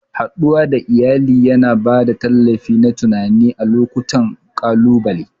Haɗuwa da iyali yana ba da tallafi na tunani a lokutan ƙalubale.